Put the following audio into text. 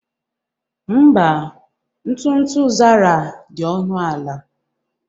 Mba, ntụ ntụ Zara dị ọnụ ala